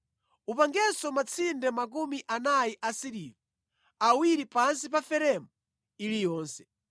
Upangenso matsinde 40 asiliva, awiri pansi pa feremu iliyonse.